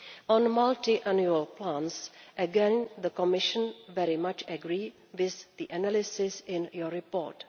On multiannual plans, again, the Commission very much agrees with the analysis in your report.